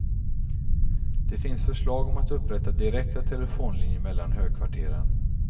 Det finns förslag om att upprätta direkta telefonlinjer mellan högkvarteren.